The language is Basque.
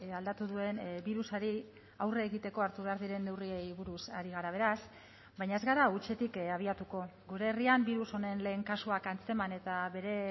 aldatu duen birusari aurre egiteko hartu behar diren neurriei buruz ari gara beraz baina ez gara hutsetik abiatuko gure herrian birus honen lehen kasuak antzeman eta bere